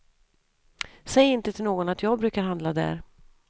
Säg inte till någon att jag brukar handla där.